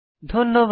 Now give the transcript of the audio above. ধন্যবাদ